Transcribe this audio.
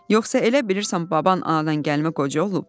Yoxsa elə bilirsən baban anadan gəlmə qoca olub?